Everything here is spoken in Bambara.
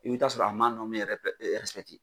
I bi t'a sɔrɔ a ma yɛrɛ bɛɛ